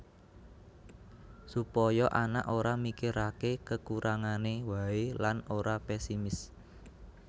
Supaya anak ora mikirake kekurangane wae lan ora pesimis